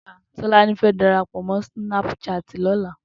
Tolani fè dàrápò mò snàpṣáti lòlá